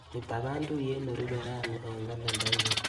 Itapan tuiyet nerupe rani eng kalendainyu.